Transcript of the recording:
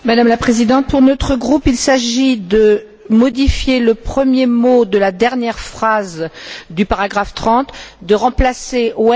Madame la Présidente, pour notre groupe, il s'agit de modifier le premier mot de la dernière phrase du paragraphe 30, de remplacer par